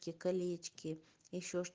колечки ещё